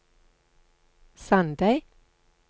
Sandeid